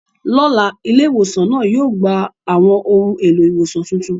Lọ́la, ilé ìwòsàn náà yóò gba àwọn ohun èlò ìwòsàn tuntun.